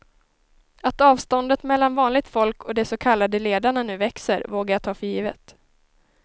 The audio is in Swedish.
Att avståndet mellan vanligt folk och de så kallade ledarna nu växer vågar jag ta för givet.